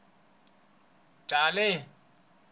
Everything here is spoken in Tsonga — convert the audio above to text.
chali